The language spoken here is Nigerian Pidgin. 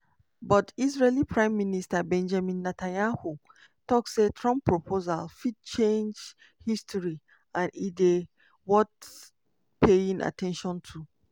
but israeli prime minister benjamin netanyahu tok say trump proposal fit "change history" and e dey "worth paying at ten tion to".